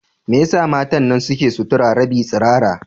Me yasa matan nan suke sutura rabin tsirara?